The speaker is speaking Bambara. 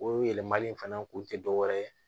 O yɛlɛmali in fana kun te dɔwɛrɛ ye